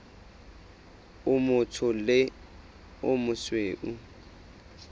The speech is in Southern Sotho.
o motsho le o mosweu